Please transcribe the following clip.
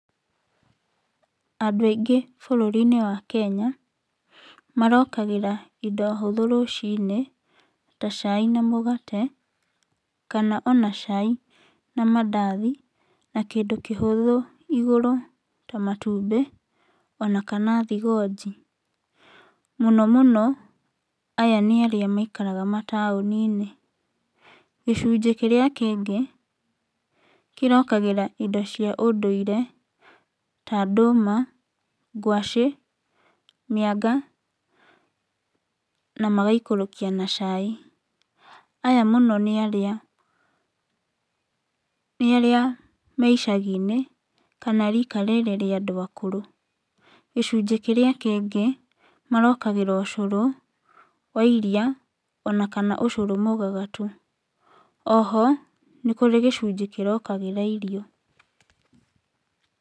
Andũ aingĩ bũrũri-inĩ wa Kenya marokagĩra indo hũthũ rũciinĩ ta cai na mũgate kana ona cai na mandathi, na kĩndũ kĩhũthũ igũrũ ta matumbĩ ona kana thigonji. Mũno mũno aya nĩ arĩa maikaraga mataũni-inĩ. Gicunjĩ kĩrĩa kĩngĩ kĩrokagĩra indo cia ũndũire ta ndũma, ngwaci, mĩanga na magaikũrũkia na cai. Aya mũno nĩarĩa nĩarĩa me icagi-inĩ kana rika rĩrĩ rĩa andũ akũrũ. Gicunjĩ kĩrĩa kĩngĩ marokagĩra ũcũrũ wa iria ona kana ũcũrũ mũgagatu. Oho nĩkũrĩ gicunjĩ kĩrokagĩra irio.